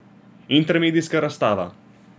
Intermedijska razstava.